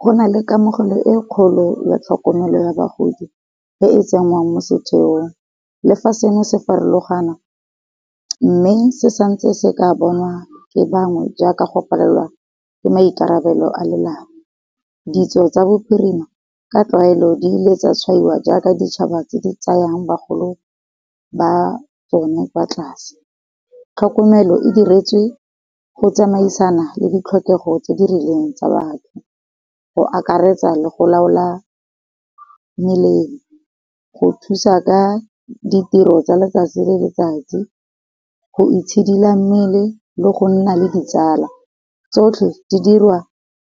Go na le kamogelo e kgolo ya tlhokomelo ya bagodi e e tsengwang mo setheong, le fa seno se farologana, mme se santse se ka bonwa ke bangwe jaaka go palelwa le maikarabelo a lelapa. Ditso tsa bo phirima, ka tlwaelo di ile tsa tshwaiwa jaaka ditšhaba tse di tsayang bagolo ba tsone kwa tlase. Tlhokomelo e diretswe go tsamaisana le di tlhokego tse di rileng tsa batho, go akaretsa le go laola melemo, go thusa ka ditiro tsa letsatsi le letsatsi, go itshidila mmele le go nna le ditsala, tsotlhe di dirwa